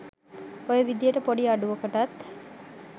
ඔය විදියට පොඩි අඩුවකටත්